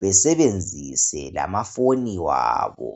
Besebenzise amaphoni wabo